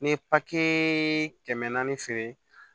N ye papiye kɛmɛ naani feere